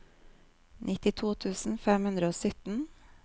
nittito tusen fem hundre og sytten